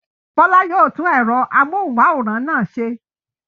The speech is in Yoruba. Bọ́lá yóò tú ẹ̀rọ amóhùmáwòhán náà ṣe.